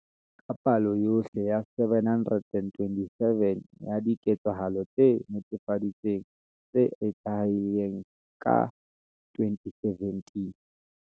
Ke palo yohle ya 727 ya diketsahalo tse netefaditsweng tse tlalehilweng ka 2017.